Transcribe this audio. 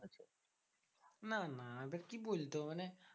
না না এবার কি বলতো? মানে